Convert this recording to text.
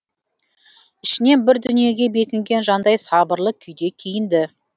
ішінен бір дүниеге бекінген жандай сабырлы күйде киінді